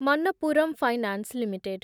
Manappuram finance limited